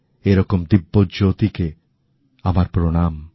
এরকম দিব্যজ্যোতিকে আমার প্রণাম